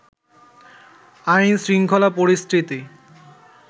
আইনশৃঙ্খলা পরিস্থিতি